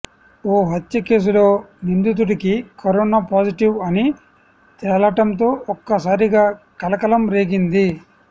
ఓ హత్య కేసులో నిందితుడికి కరోనా పాజిటివ్ అని తేలటంతో ఒక్కసారిగా కలకలం రేగింది